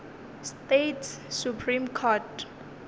states supreme court